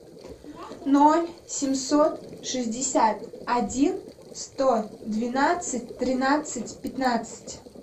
ноль семьсот шестьдесят один сто двенадцать тринадцать пятнадцать